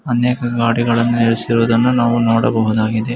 ಇಲ್ಲಿ ಅನೇಕ ಗಾಡಿಗಳನ್ನು ನಿಲ್ಲಿಸಿ ರುವುದನ್ನು ನಾವು ನೋಡಬಹುದಾಗಿದೆ.